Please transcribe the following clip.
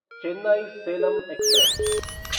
Chennai Salem express